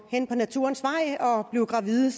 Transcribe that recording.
naturens vej og og blive gravid